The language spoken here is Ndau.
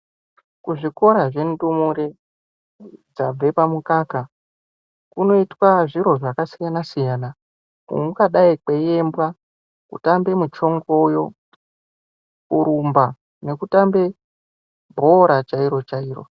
Kuzvikora zvendumure dzabve pamukaka kunoitwa zviro zvakasiyana-siyana. Kungadai kweiimbwa, kutambe muchongoyo, kurumba nekutambe bhora chairo-chairo.